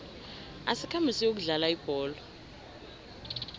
asikhambe siyokudlala ibholo